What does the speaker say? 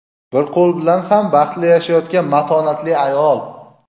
Bir qo‘l bilan ham baxtli yashayotgan matonatli ayol.